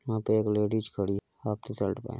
यहाँ पे एक लेडिस खड़ी हाफ टी शर्ट में --